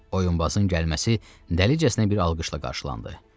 Oyunbazın gəlməsi dəlicəsinə bir alqışla qarşılandı.